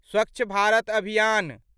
स्वच्छ भारत अभियान